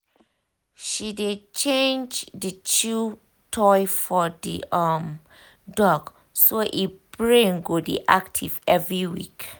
she dey change the chew toy for the um dog so e brain go dey active every week.